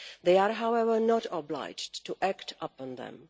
They are, however, not obliged to act upon them.